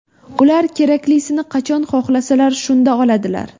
Ular keraklisini qachon xohlasalar, shunda oladilar.